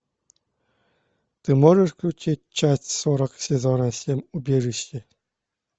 ты можешь включить часть сорок сезона семь убежище